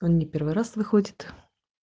он не первый раз выходит